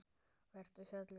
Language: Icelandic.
Vertu sæll vinur.